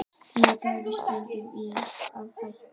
Ég pæli stundum í því að hætta